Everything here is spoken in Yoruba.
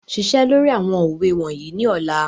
Ṣiṣẹ́ lórí àwọn òwe wọ̀nyí ní ọ̀la.